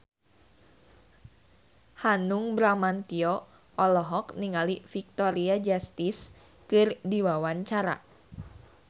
Hanung Bramantyo olohok ningali Victoria Justice keur diwawancara